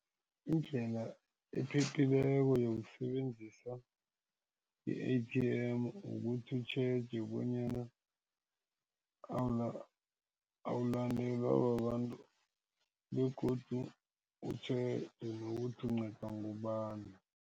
Indlela ephephileko yokusebenzisa i-A_T_M ukuthi utjheje bonyana awulandelwa babantu begodu utjheje nokuthi ukunqedwa ngubani.